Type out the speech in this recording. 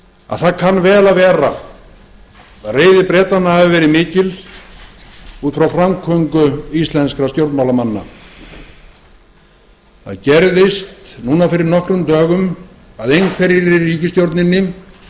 að það kann vel að vera að reiði bretanna hafi verið mikil út frá framgöngu íslenskra stjórnmálamanna það gerðist núna fyrir nokkrum dögum að einhverjir í ríkisstjórninni hvort